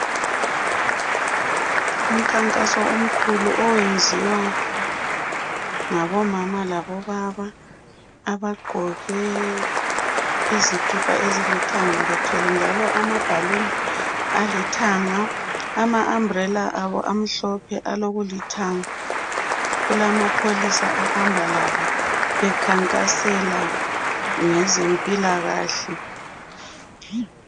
Umkhankaso omkhulu oyenziwa ngabomama labobaba abagqoke izikipa ezilithanga, bethwele njalo amabhaluni alithanga, ama ambhrela abo amhlophe alokulithanga , kulamapholisa ahamba labo bekhankasela ngezempilakahle.